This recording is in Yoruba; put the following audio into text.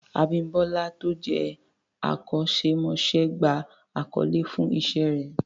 Abímbọ́lá tó jẹ́ akọ́ṣẹ́mọṣẹ́ gba àkọlé fún Iṣẹ́ rẹ̀